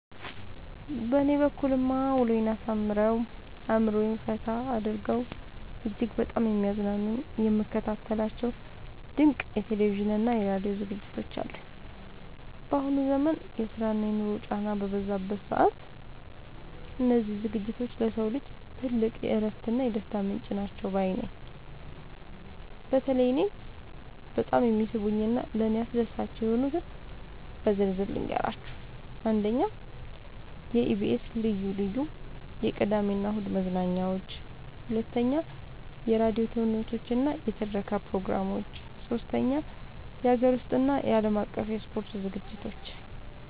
በእኔ በኩልማ ውሎዬን አሳምረው፣ አእምሮዬን ፈታ አድርገው እጅግ በጣም የሚያዝናኑኝና የምከታተላቸው ድንቅ የቴሌቪዥንና የራዲዮ ዝግጅቶች አሉኝ! ባሁኑ ዘመን የስራና የኑሮ ጫናው በበዛበት ሰዓት፣ እነዚህ ዝግጅቶች ለሰው ልጅ ትልቅ የእረፍትና የደስታ ምንጭ ናቸው ባይ ነኝ። በተለይ እኔን በጣም የሚስቡኝንና ለእኔ አስደሳች የሆኑትን በዝርዝር ልንገራችሁ፦ 1. የኢቢኤስ (EBS TV) ልዩ ልዩ የቅዳሜና እሁድ መዝናኛዎች 2. የራዲዮ ተውኔቶችና የትረካ ፕሮግራሞች 3. የሀገር ውስጥና የዓለም አቀፍ የስፖርት ዝግጅቶች